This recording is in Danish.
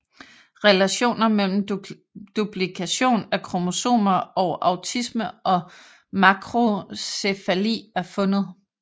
Relationer mellem duplikation af kromosomer og autisme og makrocephali er fundet